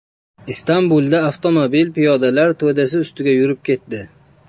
Istanbulda avtomobil piyodalar to‘dasi ustiga yurib ketdi.